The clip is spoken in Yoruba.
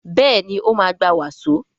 Béèni o ma gbà waso.